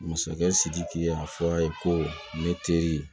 Masakɛ sidiki y'a fɔ a ye ko ne teri